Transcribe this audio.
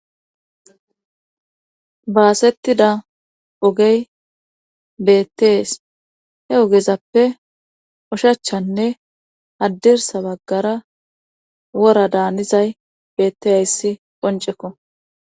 Baasettida ogey beettees he ogezappe ushachchanne haddirssa baggara wora daanizayssi beettizayssi qonceko.